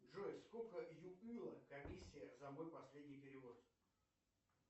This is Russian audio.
джой сколько комиссия за мой последний перевод